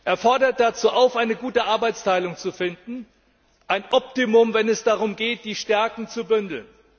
Er fordert dazu auf, eine gute Arbeitsteilung zu finden, ein Optimum, wenn es darum geht, die Stärken zu bündeln.